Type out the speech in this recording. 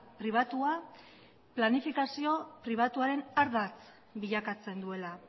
pribatua planifikazio pribatuaren ardatz bilakatzen duela